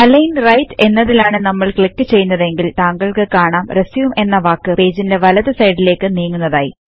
align Rightഎന്നതിലാണ് നമ്മൾ click ചെയ്യുന്നതെങ്കിൽ താങ്കൾക്ക് കാണാം RESUMEഎന്ന വാക്ക് പേജിന്റെ വലതു സൈടിലെക് നീങ്ങുന്നതായി